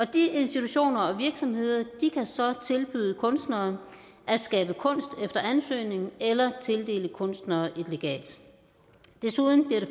de institutioner og virksomheder kan så tilbyde kunstnere at skabe kunst efter ansøgning eller tildele kunstnere et legat desuden bliver det